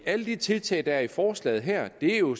alle de tiltag der er i forslaget her er jo